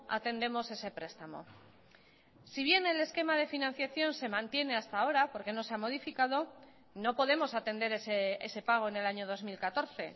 atendemos ese prestamo si bien el esquema de financiación se mantiene hasta ahora porque no se ha modificado no podemos atender ese pago en el año dos mil catorce